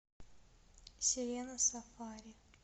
серена сафари